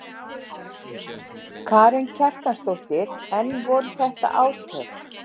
Karen Kjartansdóttir: En voru þetta átök?